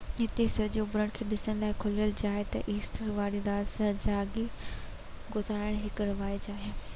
هتي سج اڀرڻ کي ڏسڻ لاءِ کليل جاءِ تي ايسٽر واري رات جاڳي گذارڻ هڪ رواج آهي